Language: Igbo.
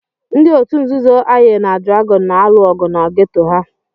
Ndị otu nzuzo Aye na Dragon na-alụ ọgụ na geto ha.